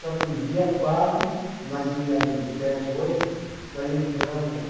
Só que um dia quase, nós tinha ali em sete, oito, nós entramos.